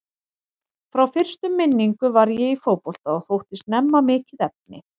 Frá fyrstu minningu var ég í fótbolta og þótti snemma mikið efni.